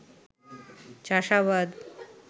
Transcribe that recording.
চাষাবাদ